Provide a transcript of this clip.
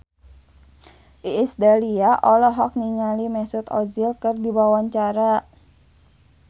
Iis Dahlia olohok ningali Mesut Ozil keur diwawancara